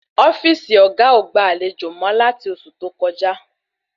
Ofíìsì oga o gba àlejò mọ lati oṣù tó kọjá